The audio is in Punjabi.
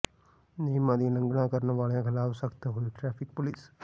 ਨਿਯਮਾਂ ਦੀ ਉਲੰਘਣਾ ਕਰਨ ਵਾਲਿਆਂ ਖਿਲਾਫ਼ ਸਖਤ ਹੋਈ ਟ੍ਰੈਫਿਕ ਪੁਲਸ